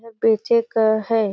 ये पीछे का हैं।